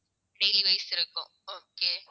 daily wise இருக்கும் okay